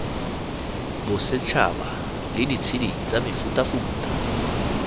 bosetšhaba la ditshedi tsa mefutafuta